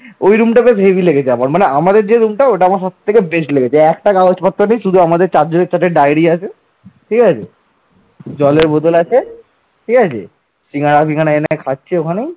ঠিক আছে সিঙ্গারা পিঙ্গারা খাচ্ছে ওখানে